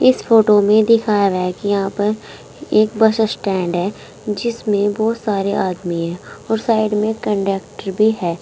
इस फोटो में दिखाया गया है कि यहां पर एक बस स्टैंड है जिसमें बहोत सारे आदमी है और साइड में कंडक्टर भी है।